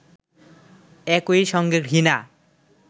একই সঙ্গে ঘৃণা